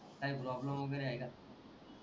काही प्रोब्लम वगेरे आहे का ,